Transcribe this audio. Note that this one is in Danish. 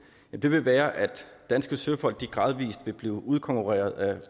vil risikoen være at danske søfolk gradvis vil blive udkonkurreret af